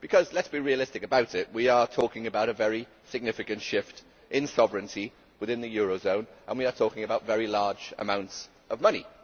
Let us be realistic we are talking about a very significant shift in sovereignty within the eurozone and we are talking about very large amounts of money.